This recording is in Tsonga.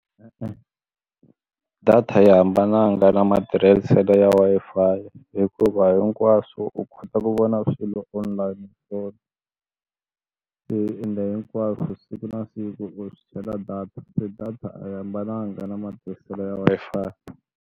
Data a yi hambananga na matirhiselo ya Wi-Fi hikuva hinkwaswo u kota ku vona swilo online swona hinkwaswo siku na siku u data se data a yi hambananga na matirhiselo ya Wi-Fi.